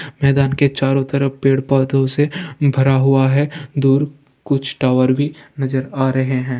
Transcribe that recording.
मैदान के चारों तरफ पेड़-पोधो से भरा हुआ है दूर कुछ टावर भी नज़र आ रहे है ।